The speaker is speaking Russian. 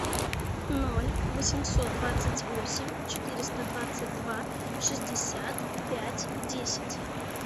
ноль восемьсот двадцать восемь четыреста двадцать два шестьдесят пять десять